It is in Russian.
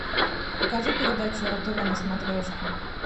покажи передачу ру тв на смотрешке